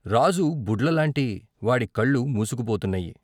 రాజు బుడ్ల లాంటి వాడి కళ్ళు మూసుకుపోతున్నాయి.